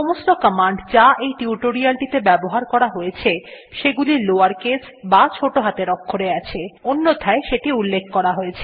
সমস্ত কমান্ড যা এই টিউটোরিয়ালটিতে ব্যবহার করা হয়ছে সেগুলি লাওয়ার কেস বা ছোটো হাতের অক্ষরে আছে অন্যথায় সেটি উল্লেখ করা হয়েছে